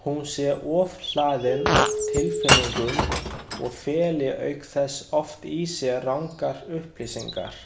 Hún sé ofhlaðin af tilfinningum og feli auk þess oft í sér rangar upplýsingar.